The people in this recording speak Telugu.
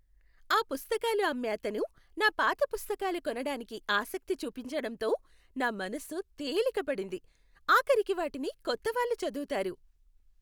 ఆ పుస్తకాలు అమ్మే అతను నా పాత పుస్తకాల కొనడానికి ఆసక్తి చూపించడంతో నా మనసు తేలిక పడింది, ఆఖరికి వాటిని కొత్తవాళ్ళు చదువుతారు.